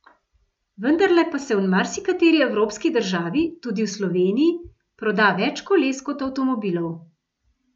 Vendarle pa se v marsikateri evropski državi, tudi v Sloveniji, proda več koles kot avtomobilov.